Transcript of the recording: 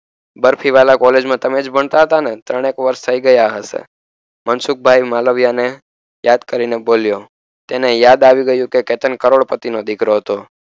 Barfiwala college મા તમેજ ભણતા હતાને ત્રણેક વર્ષ થઈ ગયા હસે મનસુખભાઇ માલવિયાને યાદ કરીને બોલ્યો તેને યાદ આવી ગયું કે કેતન કરોડપતિનો દીકરો હતો